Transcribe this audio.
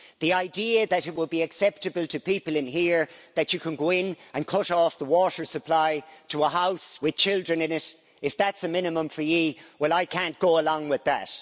The idea that it would be acceptable to people in here that you can go in and cut off the water supply to a house with children in it, if that's a minimum for you well I can't go along with that.